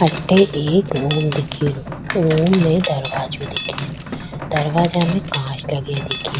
अठे एक रूम दिख रो रूम में दरवाजा दिख रो दरवाजा में कांच लगा दिख रा।